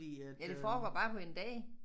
Ja det foregår bare på en dag